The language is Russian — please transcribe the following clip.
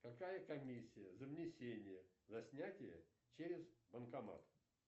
какая комиссия за внесение за снятие через банкомат